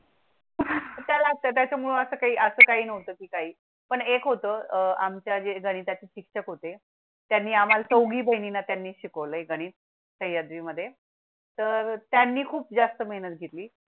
लागतात त्यामुळे असं काही असं काही नव्हतं. काही पण एक होतं. आमच्या घरी त्याचे शिक्षक होते. त्यांनी आम्हाला चौघी बहिणींना त्यांनी शिकवले. गणित सहयाद्रि मध्ये तर त्यांनी खूप जास्त मेहनत घेतली.